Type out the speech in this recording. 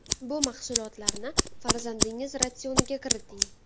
Bu mahsulotlarni farzandingiz ratsioniga kiriting.